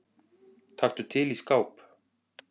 Taktu til í skáp.